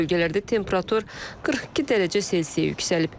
Bəzi bölgələrdə temperatur 42 dərəcə Selsiyə yüksəlib.